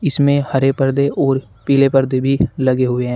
इसमें हरे परदे और पीले परदे भी लगे हुए हैं।